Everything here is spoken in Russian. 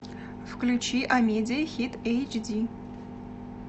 включи амедия хит эйч ди